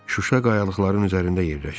Şuşa qayalıqların üzərində yerləşir.